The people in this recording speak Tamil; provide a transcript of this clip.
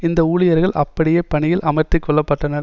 இந்த ஊழியர்கள் அப்படியே பணியில் அமர்த்திக்கொள்ளப்பட்டனர்